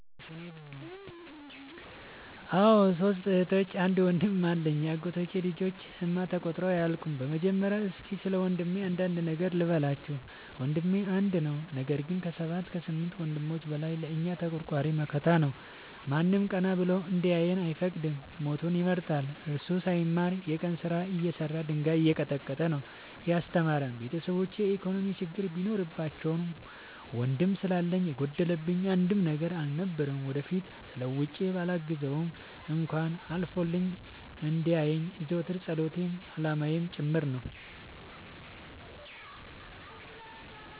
አዎ ሶስት እህቶች አንድ ወንድም አለኝ የአጎቴ ልጆች እማ ተቆጥረው አያልቁም። በመጀመሪያ እስኪ ስለወንድሜ አንዳንድ ነገር ልበላችሁ። ወንድሜ አንድ ነው ነገር ግን አሰባት ከስምንት ወንድሞች በላይ ለእኛ ተቆርቋሪ መከታ ነው። ማንም ቀና ብሎ እንዲያየን አይፈቅድም ሞቱን ይመርጣል። እሱ ሳይማር የቀን ስራ እየሰራ ድንጋይ እየቀጠቀጠ ነው። ያስተማረን ቤተሰቦቼ የኢኮኖሚ ችግር ቢኖርባቸውም ወንድም ስላለኝ የጎደለብኝ አንድም ነገር አልነበረም። ወደፊት ተለውጬ በላግዘው እንኳን አልፎልኝ እንዲየኝ የዘወትር ፀሎቴ አላማዬም ጭምር ነው።